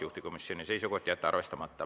Juhtivkomisjoni seisukoht on jätta arvestamata.